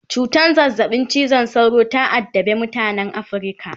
cutan zazzabin cizon sauro ta addabe mutanan Africa